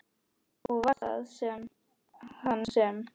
Og var það hann sem?